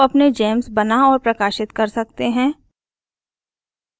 आप अपने gems बना और प्रकाशित कर सकते है